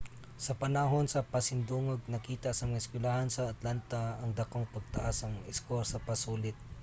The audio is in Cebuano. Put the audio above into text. sa panahon sa pasidungog nakita sa mga eskuylahan sa atlanta ang dakong pagtaas sa mga eskor sa pasulit